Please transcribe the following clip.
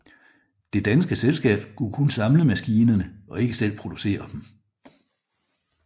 Det danske selskab skulle kun samle maskinerne og ikke selv producere dem